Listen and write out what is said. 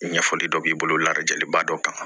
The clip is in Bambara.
Ɲɛfɔli dɔ b'i bolo ladaliba dɔ kan